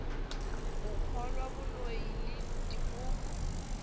go kgolwa boloi le dipoko